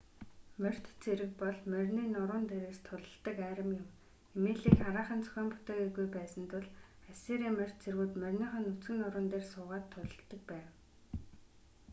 морьт цэрэг бол морины нуруун дээрээс тулалддаг арми юм эмээлийг хараахан зохион бүтээгээгүй байсан тул ассирийн морьт цэргүүд мориныхоо нүцгэн нуруун дээр суугаад тулалддаг байв